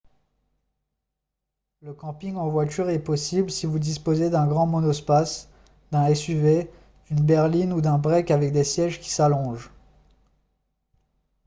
le camping en voiture est possible si vous disposez d'un grand monospace d'un suv d'une berline ou d'un break avec des sièges qui s'allongent